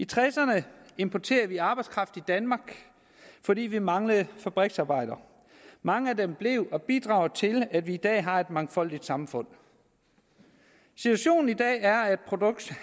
tresserne importerede vi arbejdskraft i danmark fordi vi manglede fabriksarbejdere mange af dem blev og bidrog til at vi i dag har et mangfoldigt samfund situationen i dag er